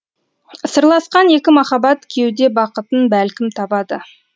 сырласқан екі махаббат кеуде бақытын бәлкім табады